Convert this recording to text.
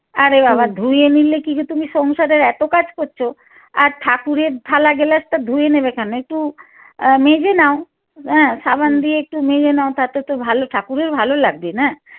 আরে বাবা ধুয়ে নিলে কিছু তুমি সংসারের এত কাজ করছ আর ঠাকুরের থালা গেলাসটা ধুয়ে নেবা কেনো একটু আহ মেজে নাও হ্যাঁ সাবান গিয়ে একটু মেজে নাও তাতে তো ভালো ঠাকুরের ভালো লাগবে না?